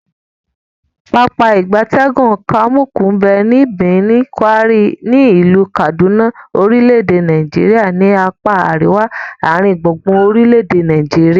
Pápá ìgbatẹ́gùn Kamuku nbe ni Birnin, Gwari, ni ilu Kaduna orile-ede Nigeria ni apa ariwa aringbungbun orile ede Nigeria.